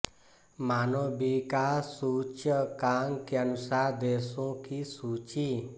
मानव विकास सूचकांक के अनुसार देशों की सूची